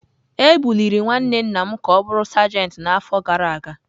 Ebuliri nwanne nna m ka ọ bụrụ sajentị n’afọ gara aga.